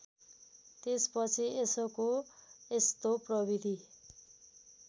त्यसपछि यसको यस्तो प्रविधि